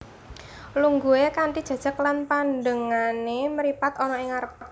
Lungguhe kanthi jejeg lan pandengane mripat ana ing ngarep